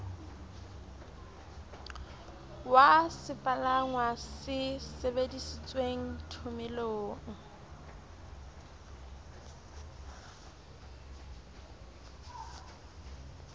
wa sepalangwa se sebedisitweng thomelong